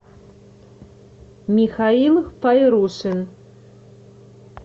михаил файрушин